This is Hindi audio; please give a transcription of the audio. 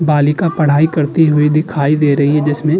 बालिका पढ़ाई करती हुई दिखाई दे रही है जिसमें --